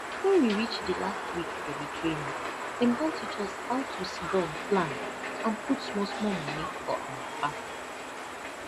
wen we reach di last week for di training dem come teach us how to sidon plan and put small small money for awa farm